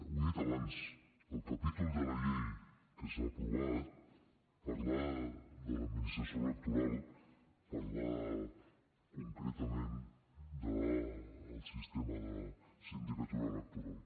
ho he dit abans el capítol de la llei que s’ha aprovat parla de l’administració electoral parla concretament del sistema de la sindicatura electoral